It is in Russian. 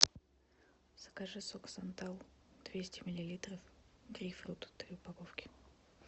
закажи сок сантал двести миллилитров грейпфрут три упаковки